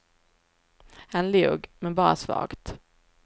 Han log, men bara svagt.